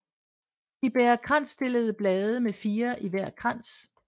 De bærer kransstillede blade med 4 i hver krans